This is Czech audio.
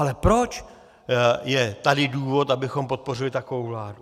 Ale proč je tady důvod, abychom podpořili takovou vládu?